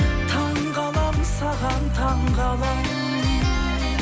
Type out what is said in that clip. таңғаламын саған таңғаламын